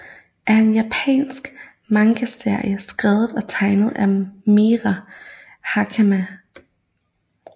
er en japansk mangaserie skrevet og tegnet af Mera Hakamada